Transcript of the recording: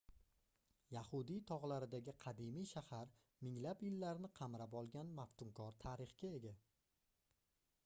yahudiy togʻlaridagi qadimiy shahar minglab yillarni qamrab olgan maftunkor tarixga ega